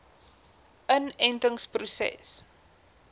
inentingproses